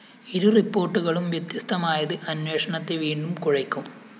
ഇരു റിപ്പോര്‍ട്ടുകളും വ്യത്യസ്തമായത് അന്വേഷണത്തെ വീണ്ടും കുഴയ്ക്കും